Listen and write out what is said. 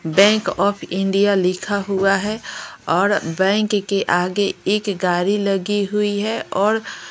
bank of India लिखा हुआ है और बैंक के आगे एक गाड़ी लगी हुई है और--